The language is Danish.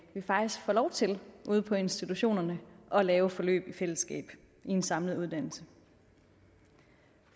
vi faktisk får lov til ude på institutionerne at lave forløb i fællesskab i en samlet uddannelse